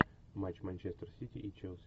матч манчестер сити и челси